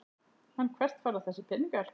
En hvert fara þessir peningar?